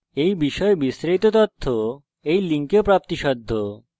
এই বিষয়ে বিস্তারিত তথ্য এই লিঙ্কে প্রাপ্তিসাধ্য http:// spokentutorial org/nmeictintro